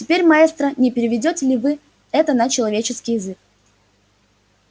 теперь маэстро не переведёте ли вы это на человеческий язык